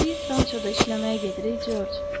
Biz rançoda işləməyə gedirik, Corc.